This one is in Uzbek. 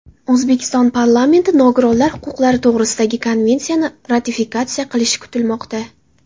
O‘zbekiston Parlamenti Nogironlar huquqlari to‘g‘risidagi konvensiyani ratifikatsiya qilishi kutilmoqda.